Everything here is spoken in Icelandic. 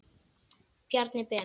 Bjarni Ben.